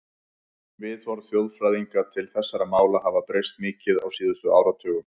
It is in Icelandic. Viðhorf þjóðfræðinga til þessara mála hafa breyst mikið á síðustu áratugum.